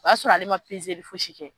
O y'a sɔrɔ ale ma pezeli fosi kɛ.